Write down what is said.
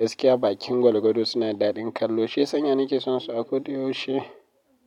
Gaskiya bakin gwargwado suna da daɗin kallo. Shi ya sanya nake son su a ko da yaushe.